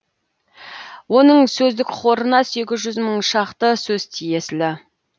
оның сөздік қорына сегіз жүз мың шақты сөз тиесілі